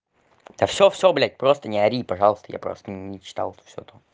да всё всё блядь просто не ори пожалуйста я просто не читал всё ту